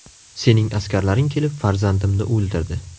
Sening askarlaring kelib farzandimni o‘ldirdi.